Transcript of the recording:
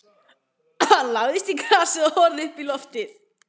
Hann lagðist í grasið og horfði uppí loftið.